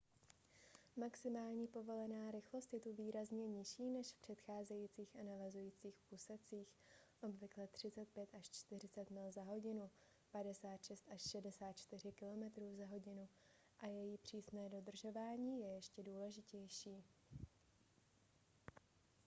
maximální povolená rychlost je tu výrazně nižší než v předcházejících a navazujících úsecích – obvykle 35–40 mil/h 56–64 km/h – a její přísné dodržování je ještě důležitější